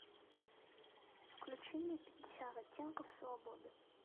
включи мне пятьдесят оттенков свободы